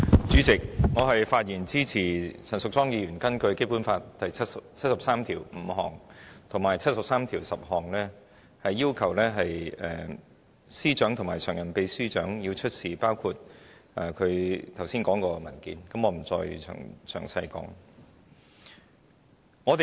主席，我發言支持陳淑莊議員根據《基本法》第七十三條第五項及第七十三條第十項提出的議案，要求政務司司長及民政事務局常任秘書長出示包括她剛才提述的文件，我不再詳述。